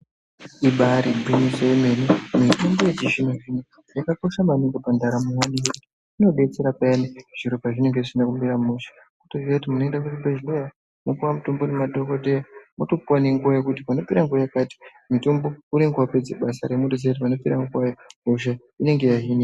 Ibairi gwinyiso yemene, mitombo yechizvino-zvino yakakosha maningi pandaramo yedu ngekuti inodetsera payani zviro pezvinenge zvisina kumira mushe. Kutoziye kuti unoende kuchibhedhlera wotopiwe mutombo ngemadhogodheya otopuwa nenguwa kuti panopera nguwa yakati mutombo unenge wapedze basa, hosha inenge yahinika.